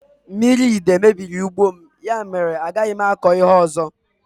Mmiri idei mebiri ugbo m, ya mèrè a gaghị m akọ ihe ọzọ